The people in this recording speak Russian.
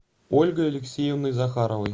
ольгой алексеевной захаровой